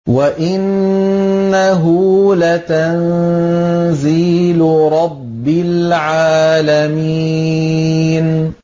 وَإِنَّهُ لَتَنزِيلُ رَبِّ الْعَالَمِينَ